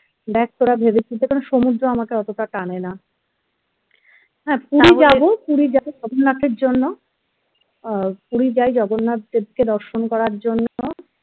দেখ তোরা ভেবেচিন্তে কারণ সমুদ্র আমাকে অতটা টানে না হ্যাঁ puri যাবো puri যাবো জগন্নাথের জন্য আহ puri যায় জগন্নাথ দেবকে দর্শন করার জন্য